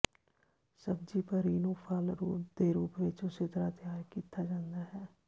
ਸਬਜ਼ੀ ਪਰੀ ਨੂੰ ਫਲ ਦੇ ਰੂਪ ਵਿੱਚ ਉਸੇ ਤਰ੍ਹਾਂ ਤਿਆਰ ਕੀਤਾ ਜਾਂਦਾ ਹੈ